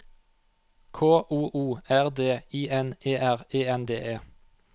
K O O R D I N E R E N D E